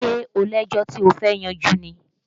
Ṣé o lẹ́jọ́ tí ó fẹ́ yanjú ni?